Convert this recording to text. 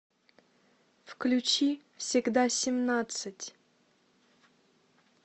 включи всегда семнадцать